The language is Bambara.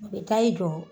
A bɛ taa i jɔ